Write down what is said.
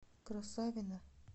красавино